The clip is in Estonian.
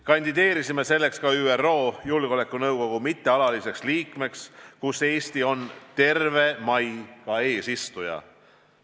Kandideerisime selleks ka ÜRO Julgeolekunõukogu mittealaliseks liikmeks, kus Eesti on terve mai ka eesistuja.